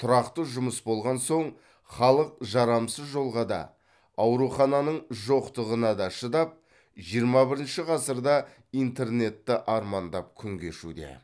тұрақты жұмыс болған соң халық жарамсыз жолға да аурухананың жоқтығына да шыдап жиырма бірінші ғасырда интернетті армандап күн кешуде